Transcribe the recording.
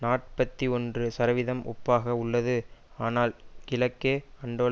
நாற்பத்தி ஒன்று சதவிதம் ஒப்பாக உள்ளது ஆனால் கிழக்கே அன்டோல்